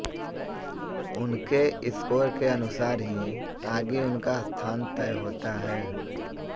उनके स्कोर के अनुसार ही आगे उनका स्थान तय होता है